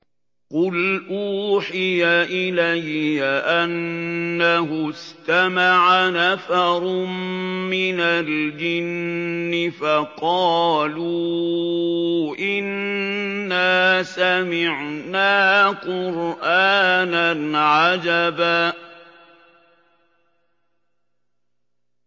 قُلْ أُوحِيَ إِلَيَّ أَنَّهُ اسْتَمَعَ نَفَرٌ مِّنَ الْجِنِّ فَقَالُوا إِنَّا سَمِعْنَا قُرْآنًا عَجَبًا